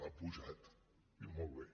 ha pujat diu molt bé